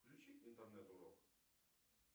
включи интернет урок